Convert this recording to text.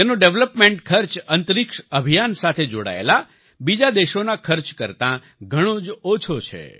તેનો ડેવેલપમેન્ટ ખર્ચ અંતરિક્ષ અભિયાન સાથે જોડાયેલા બીજા દેશોના ખર્ચ કરતાં ઘણો જ ઓછો છે